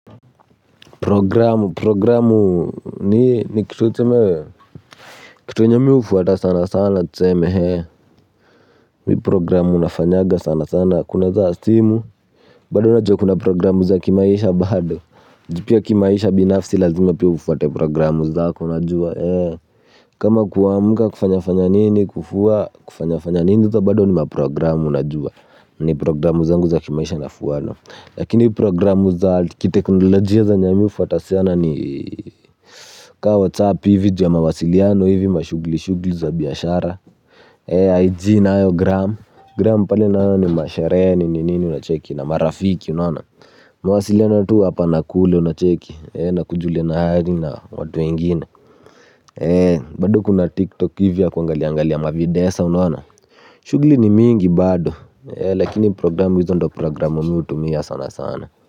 Programu programu ni ni kitu tuseme kitu yenye mi hufuata sana sana tuseme mi programu nafanyaga sana sana kuna za simu bado najua kuna programu za kimaisha bado ju pia kimaisha binafsi lazima pia ufuate programu zako unajua kama kuamka kufanya fanya nini kufua kufanya fanya nini hizo bado ni maprogramu najua ni programu zangu za kimaisha nafuana lakini programu za kiteknolojia zenye mi hufuata sana ni Kaa WhatsApp hivi ju ya mawasiliano hivi mashugli shugli za biashara IG nayo Gram Gram pale nayo ni masheree nini nini unacheki na marafiki unaona. Mawasiliano tu hapa na kule unacheki na kujuliana hali na watu wengine bado kuna TikTok hivi ya kuangaliangalia mavideo sa unaona. Shugli ni mingi bado lakini programu hizo ndo programu mi hutumia sana sana.